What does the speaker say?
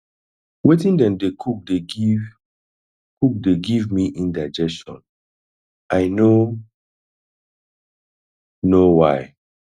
wetin dem dey cook dey give cook dey give me indigestion i no know why